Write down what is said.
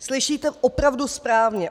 Slyšíte opravdu správně.